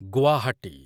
Guwahati